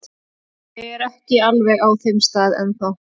Ég er ekki alveg á þeim stað enn þá.